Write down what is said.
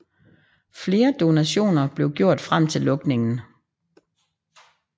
Flere donationer blev gjort frem til lukningen